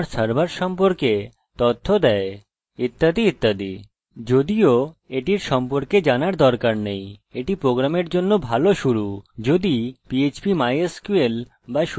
বরং আমার সার্ভারে mysql সার্ভারে এটি আমাদের টেবিলের তথ্য আমাদের ডাটাবেসের তথ্য এবং আমার সার্ভার সম্পর্কে তথ্য দেয় ইত্যাদি ইত্যাদি